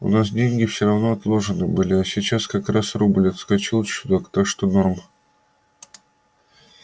у нас деньги всё равно отложены были а сейчас как раз рубль отскочил чуток так что норм